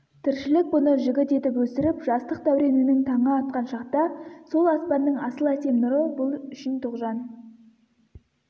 тіршілік бұны жігіт етіп өсіріп жастық дәуренінің таңы атқан шақта сол аспанның асыл әсем нұры бұл үшін тоғжан